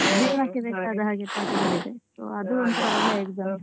ಜೀವನಕ್ಕೆ ಬೇಕಾದಹಾಗೆ ಪಾಠಗಳಿದೆ ಅದು ಒಂತರ.